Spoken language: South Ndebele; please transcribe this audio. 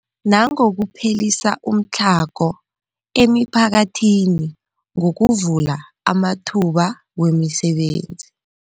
Nangokuphelisa umtlhago emiphakathini ngokuvula amathuba wemisebenzi.